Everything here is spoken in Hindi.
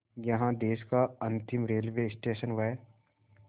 यहाँ देश का अंतिम रेलवे स्टेशन व